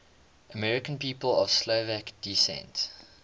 american people of slovak descent